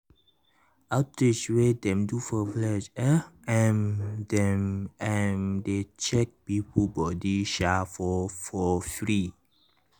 outreach wey dem do for village eh um dem um dey check people body um for for free.